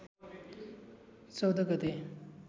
१४ गते